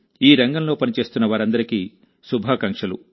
ఈ రంగంలో పనిచేస్తున్న వారందరికీ శుభాకాంక్షలు